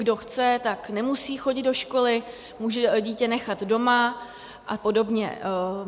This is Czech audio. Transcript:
Kdo chce, tak nemusí chodit do školy, může dítě nechat doma a podobně.